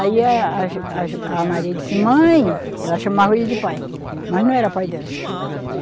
Aí a, a jo, a jo, a Maria disse, mãe... Ela chamava ele de pai, mas não era pai dela.